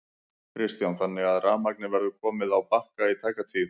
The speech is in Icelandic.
Kristján: Þannig að rafmagnið verður komið á Bakka í tæka tíð?